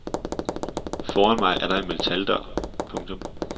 Foran mig er der en metaldør. punktum